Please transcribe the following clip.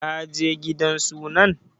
Ka je gidan sunan?